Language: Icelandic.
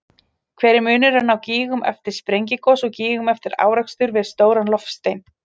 Hver er munurinn á gígum eftir sprengigos og gígum eftir árekstur við stóran loftstein?